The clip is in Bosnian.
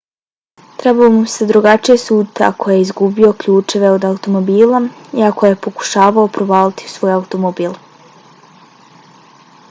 trebalo bi mu se drugačije suditi ako je izgubio ključeve od automobila i ako je pokušavao provaliti u svoj automobil